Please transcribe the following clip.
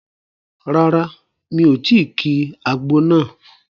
Rárá, mi ò tí ki àgbo náà